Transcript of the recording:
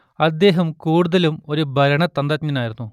അദ്ദേഹം കൂടുതലും ഒരു ഭരണതന്ത്രജ്ഞനായിരുന്നു